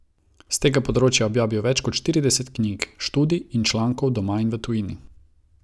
S tega področja je objavil več kot štirideset knjig, študij in člankov doma in v tujini.